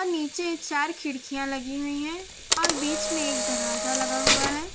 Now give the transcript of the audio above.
नीचे चार खिड़कियां लगी हुई हैं और बीच में एक दरवाजा लगा हुआ है।